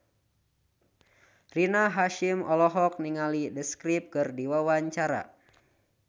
Rina Hasyim olohok ningali The Script keur diwawancara